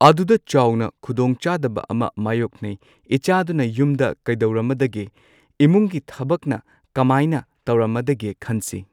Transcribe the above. ꯑꯗꯨꯗ ꯆꯥꯎꯅ ꯈꯨꯗꯣꯡꯆꯥꯗꯕ ꯑꯃ ꯃꯥꯌꯣꯛꯅꯩ ꯏꯆꯥꯗꯨꯅ ꯌꯨꯝꯗ ꯀꯩꯗꯧꯔꯝꯃꯗꯒꯦ ꯏꯃꯨꯡꯒꯤ ꯊꯕꯛꯅ ꯀꯃꯥꯏꯅ ꯇꯧꯔꯝꯃꯗꯒꯦ ꯈꯟꯁꯤ꯫